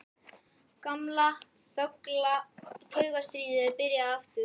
Gamla, þögla taugastríðið er byrjað aftur.